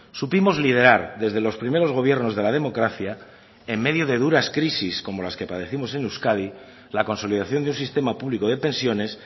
supimos liderar desde los primeros gobiernos de la democracia en medio de duras crisis como las que padecemos en euskadi la consolidación de un sistema público de pensiones